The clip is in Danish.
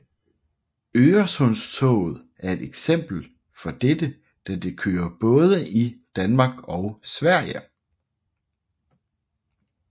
Øresundstoget er et eksempel for dette da det kører både i Danmark og Sverige